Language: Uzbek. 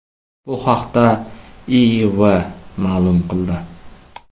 Bu haqda IIV ma’lum qildi .